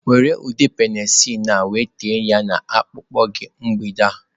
Were ude penicillin a wee techaa ya na akpụkpọ gị mgbede a.